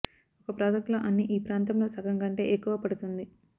ఒక ప్రాజెక్ట్ లో అన్ని ఈ ప్రాంతంలో సగం కంటే ఎక్కువ పడుతుంది